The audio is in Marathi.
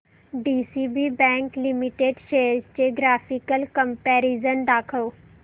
डीसीबी बँक लिमिटेड शेअर्स चे ग्राफिकल कंपॅरिझन दाखव